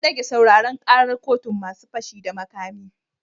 An dage sauraren karar kotun masu fashi da makami